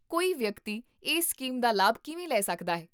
ਕੋਈ ਵਿਅਕਤੀ ਇਸ ਸਕੀਮ ਦਾ ਲਾਭ ਕਿਵੇਂ ਲੈ ਸਕਦਾ ਹੈ?